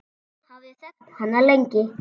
Ég hafði þekkt hana lengi.